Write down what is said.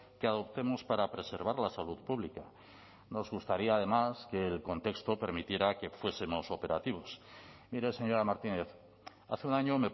que adoptemos para preservar la salud pública nos gustaría además que el contexto permitiera que fuesemos operativos mire señora martínez hace un año